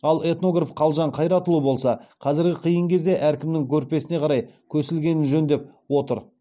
ал этнограф қалжан қайратұлы болса қазіргі қиын кезде